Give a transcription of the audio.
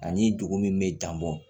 Ani dugu min bɛ jan bɔ